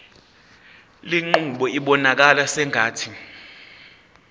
lenqubo ibonakala sengathi